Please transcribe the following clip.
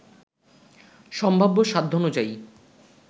সম্ভাব্য সাধ্যানুযায়ী